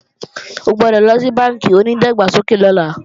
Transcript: O gbọ́dọ̀ lọ sí bánkì onídàgbàsókè lọ́la